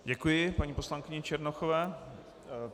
Děkuji paní poslankyni Černochové.